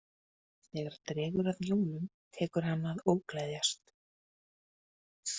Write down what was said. Þegar dregur að jólum tekur hann að ógleðjast.